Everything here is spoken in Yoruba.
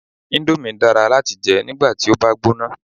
Indomie dára láti jẹ nígbàti o bá gbóná